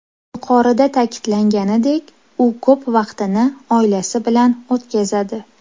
Yuqorida ta’kidlanganidek, u ko‘p vaqtini oilasi bilan o‘tkazadi.